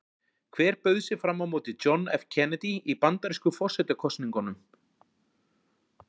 Hver bauð sig fram á móti John F Kennedy í bandarísku forsetakosningunum?